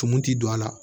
Tumu ti don a la